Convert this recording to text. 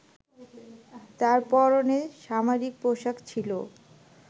তার পরণে সামরিক পোশাক ছিল।